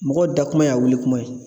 Mɔgɔw da kuma y'a wuli kuma ye.